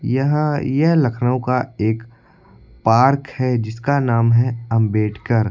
यह यह लखनऊ का एक पार्क है जिसका नाम है अंबेडकर।